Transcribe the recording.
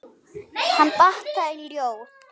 Hann batt það í ljóð.